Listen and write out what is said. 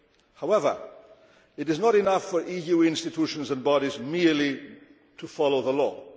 However, it is not enough for EU institutions and bodies merely to follow the law.